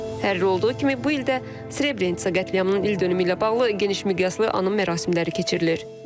Hər il olduğu kimi bu il də Srebrenitsa qətliamının ildönümü ilə bağlı geniş miqyaslı anım mərasimləri keçirilir.